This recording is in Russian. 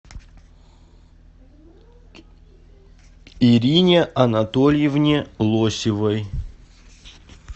ирине анатольевне лосевой